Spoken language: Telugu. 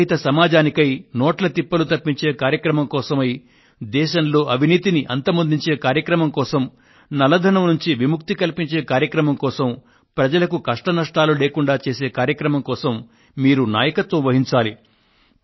నగదురహిత సమాజానికై నోట్ల తిప్పలు తప్పించే కార్యక్రమం కోసమై దేశంలో అవినీతిని అంతమొందించే కార్యక్రమం కోసం నల్లధనం నుండి విముక్తిని కల్పించే కార్యక్రమం కోసం ప్రజలకు కష్టనష్టాలు లేకుండా చేసే కార్యక్రమం కోసం మీరు నాయకత్వం వహించాలి